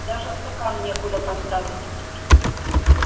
даже стакан некуда поставить